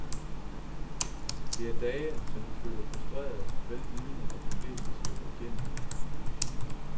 Det er dage, som de føler frustrerende, vel vidende, at de fleste slipper igennem.